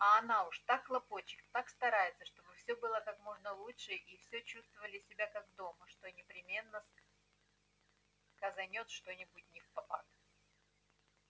а она уж так хлопочет так старается чтобы все было как можно лучше и все чувствовали себя как дома что непременно сказанёт что-нибудь невпопад